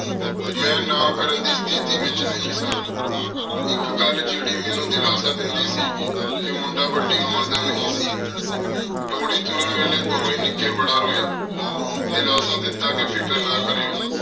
ਮੇਂ ਨਾ ਕਰਨ ਦੀ ਤੇਥੀ ਵਿਚ ਨਹੀ ਸਾਂ ਏਕ ਗਲ ਜੇਰੀ ਮੇਨੂ ਦਿਲਾਸ੍ਸਾ ਦੇਂਦੀ ਸੀ ਕਹ ਮੁੰਡਾ ਵਾਦੀ ਉਮਰ ਦਾ ਨਹੀ ਸੀ ਡੋਲੀ ਤੁਰਨ ਵੇਲੀ ਦੋਵੇਂ ਨਿੱਕੀ ਬਾਰਾ ਰੋਏ ਦਿਲਾਸਾ ਦਿਤਾ ਕ ਫਿਕਰ ਨਾ ਕਾਰ੍ਯੋ